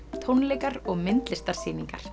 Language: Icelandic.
tónleikar og myndlistarsýningar